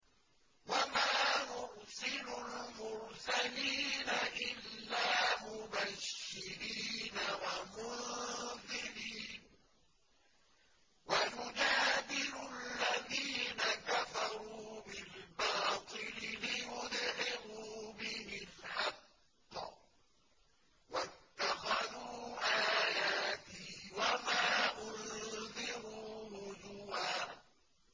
وَمَا نُرْسِلُ الْمُرْسَلِينَ إِلَّا مُبَشِّرِينَ وَمُنذِرِينَ ۚ وَيُجَادِلُ الَّذِينَ كَفَرُوا بِالْبَاطِلِ لِيُدْحِضُوا بِهِ الْحَقَّ ۖ وَاتَّخَذُوا آيَاتِي وَمَا أُنذِرُوا هُزُوًا